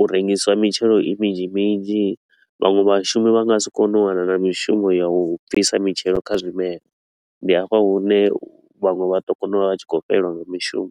u rengisa mitshelo i minzhi minzhi. Vhaṅwe vhashumi vha nga si kone u wana na mishumo ya u bvisa mitshelo kha zwimelwa, ndi hafha hune vhanwe vha ḓo kona u vha vha tshi khou fhelelwa nga mishumo.